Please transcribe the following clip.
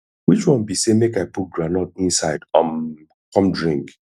which one be say make i put groundnut inside um come drink